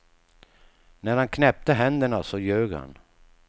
När han knäppte händerna så ljög han.